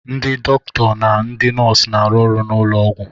Ndị dọkịta na ndị nọọsụ na-arụ ọrụ n'ụlọ ọgwụ